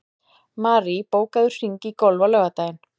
Marie, bókaðu hring í golf á laugardaginn.